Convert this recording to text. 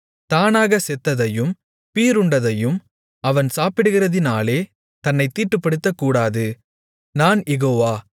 தானாகச் செத்ததையும் பீறுண்டதையும் அவன் சாப்பிடுகிறதினாலே தன்னைத் தீட்டுப்படுத்தக்கூடாது நான் யெகோவா